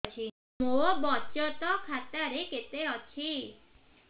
ମୋ ବଚତ ଖାତା ରେ କେତେ ଅଛି